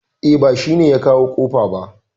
E, ba shi ne ya kawo kofa ba